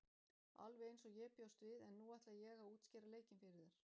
Alveg eins og ég bjóst við en nú ætla ég að útskýra leikinn fyrir þér.